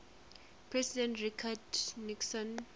president richard nixon